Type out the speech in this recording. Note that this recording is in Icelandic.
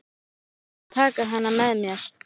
Ég gleymdi að taka hana með mér.